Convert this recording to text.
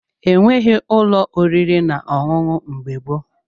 E nweghị ụlọ oriri na ọṅụṅụ mgbe gboo.